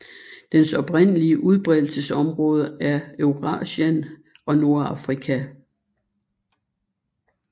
Dens oprindelige udbredelsesområde er Eurasien og Nordafrika